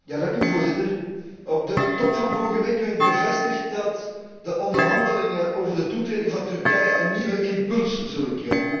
Voorzitter, op de Top van vorige week werd bevestigd dat de onderhandelingen over de toetreding van Turkije een nieuwe impuls zullen krijgen.